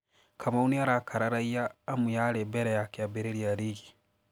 kamau nĩ arakararaia amu yarĩ mbere ya kĩambĩrĩria rigi